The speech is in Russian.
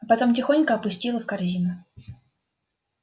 а потом тихонько опустила в корзину